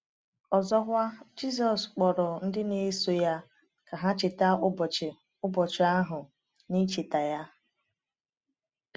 Ọzọkwa, Jizọs kpọrọ ndị na-eso ya ka ha cheta ụbọchị ụbọchị ahụ n’icheta ya.